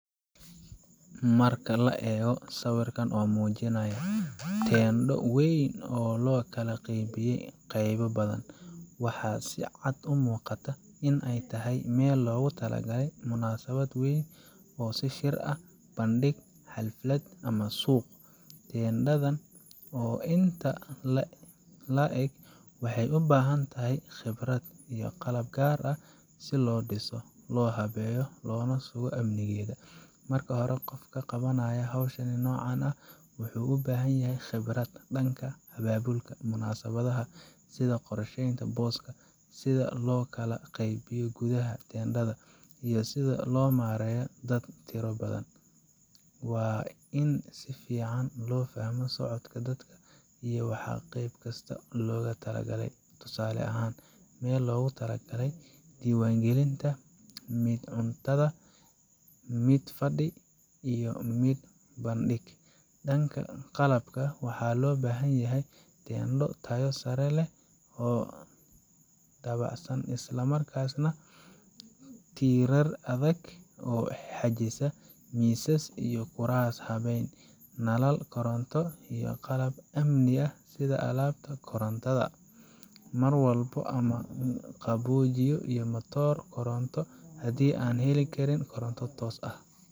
Marka la eego sawirkan oo muujinaya teendho weyn oo loo kala qaybiyey qaybo badan, waxaa si cad u muuqata in ay tahay meel loogu talagalay munaasabad weyn sida shir, bandhig, xaflad ama suuq. Teendhada oo intan la eg waxay u baahan tahay khibrad iyo qalab gaar ah si loo dhiso, loo habeeyo, loona sugo amnigeeda. Marka hore, qofka qabanaya hawsha noocan ah wuxuu u baahan yahay khibrad dhanka abaabulka munaasabadaha, sida loo qorsheeynta booska, sida loo kala qeybiyo gudaha teendhada, iyo sida loo maareeyo dad tiro badan. Waa in si fiican loo fahmo socodka dadka iyo waxa qayb kasta loogu talagalay tusaale ahaan, meel loogu talagalay diiwaangelinta, mid cuntada, mid fadhi, iyo mid bandhig. Dhanka qalabka, waxaa loo baahan yahay teendho tayo sare leh oo dabacsan isla markaasna , tiirar adag oo xajisa, miisas iyo kuraas habeysan, nalal koronto, iyo qalab amni sida albaabada kontaroolka, marawaxado ama qaboojiye, iyo matoor koronto haddii aan la heli karin koronto toos ah.